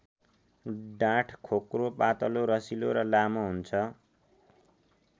डाँठ खोक्रो पातलो रसिलो र लामो हुन्छ।